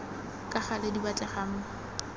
ka gale di batlegang mo